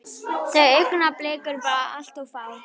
Þau augnablik eru bara allt of fá.